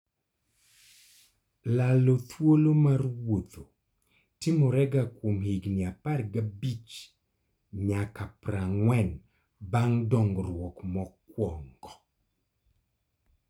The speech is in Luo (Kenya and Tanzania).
lalo thuolo mar wuotho timorega kuom higni apar gabich nyaka prang'wen bang' dongruok mokuongo